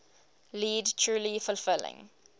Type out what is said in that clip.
lead truly fulfilling